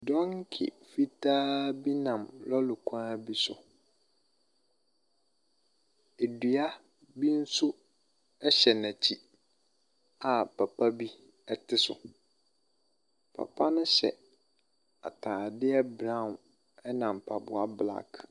Donkey fitaa bi nam lɔɔre kwan bi so. Adua bi nso hyɛ n'akyi a papa bi te so. Papa no hyɛ ataadeɛ brow na mpaboa black.